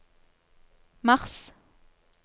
mars